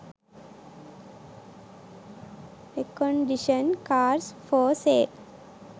recondition cars for sale